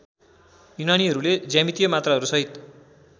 यूनानीहरुले ज्यामितीय मात्राहरु सहित